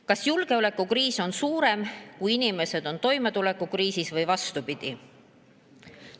Kas julgeolekukriis on suurem, kui inimesed on toimetulekukriisis, või vastupidi?